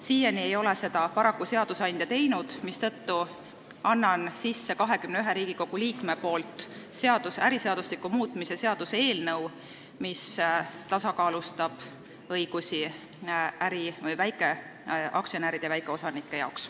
Siiani ei ole seadusandja seda paraku teinud, mistõttu annan 21 Riigikogu liikme nimel üle äriseadustiku muutmise seaduse eelnõu, mis tasakaalustab väikeaktsionäride ja väikeosanike õigusi.